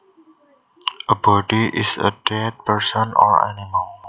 A body is a dead person or animal